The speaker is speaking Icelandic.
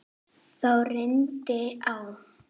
Þá reyndi á.